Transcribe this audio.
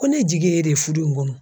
Ko ne jigi ye e de ye fudu in kɔnɔ.